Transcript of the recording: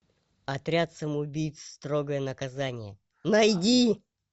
отряд самоубийц строгое наказание найди